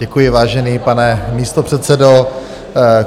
Děkuji, vážený pane místopředsedo.